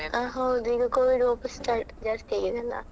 ಹಾ ಹೌದು ಈಗ Covid ವಾಪಸ್ start ಜಾಸ್ತಿಯಾಗಿದೆಯಲ್ಲ.